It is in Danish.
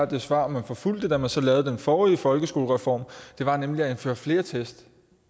det svar man forfulgte da man så lavede den forrige folkeskolereform var nemlig at indføre flere test